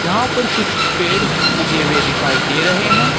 यहां पर कुछ पेड़ उगे हुए दिखाई दे रहे हैं।